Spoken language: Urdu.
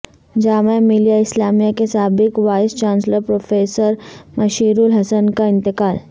جامعہ ملیہ اسلامیہ کے سابق وائس چانسلر پروفیسر مشیرالحسن کا انتقال